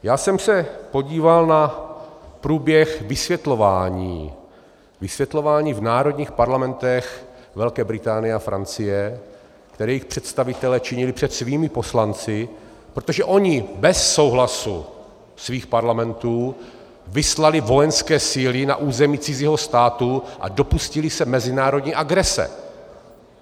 Já jsem se podíval na průběh vysvětlování v národních parlamentech Velké Británie a Francie, které jejich představitelé činili před svými poslanci, protože oni bez souhlasu svých parlamentů vyslali vojenské síly na území cizího státu a dopustili se mezinárodní agrese.